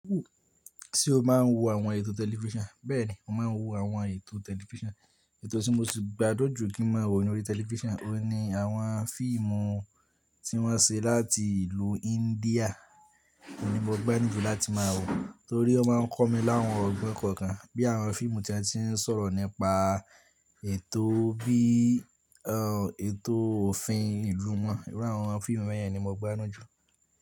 Ṣé o máa ń wo àwọn ètò tẹlifíṣàn? Bẹ́ẹ̀ni, mo máa ń wo àwọn ètò tẹlifíṣàn. Ètò tí mo sì gbádùn jù kí n máa wò nínú tẹlifíṣàn, òun ni àwọn fíìmù tí wọ́n ṣe láti ìlú India, òun ni mo gbá nù jù láti máa wò torí ó má ń kọ́ mi láwọn ọgbọ́n kọ̀ọ̀kan bí àwọn fíìmù tí wọ́n ti ń sọ̀rọ̀ nípa ètò bí, ètò òfin ìlú wọn. Irú àwọn fíìmù wọ́nyẹn ni mo gbádùn jù.